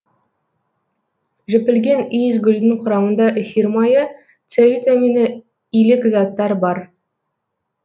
жіпілген иісгүлдің құрамында эфир майы с витамині илік заттар бар